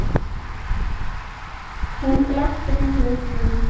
Hún glápti ringluð upp á manninn.